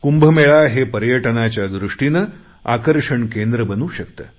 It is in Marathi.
कुंभमेळा हे पर्यटनाच्या दृष्टीने आकर्षण केंद्र बनू शकते